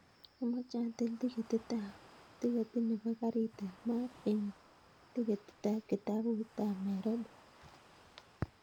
Amoche atil tiketit nepo karit ap maat en tiketit ap kitabut ap nairobi